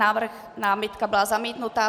Návrh, námitka byla zamítnuta.